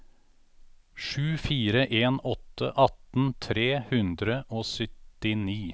sju fire en åtte atten tre hundre og syttini